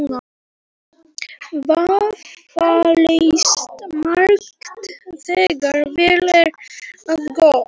Vafalaust margt, þegar vel er að gáð